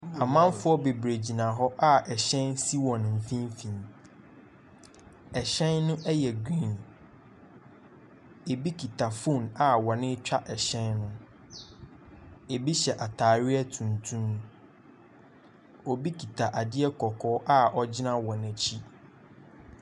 Amamfo bebree gyinagyina hɔ a hyɛn si hɔn mfimfin, hyɛn no yɛ green, bi kita phone a wɔretwa hyɛn no, bi hyɛ ataadeɛ tuntum, obi kita adeɛ kɔkɔɔ a ogyina wɔn akyi.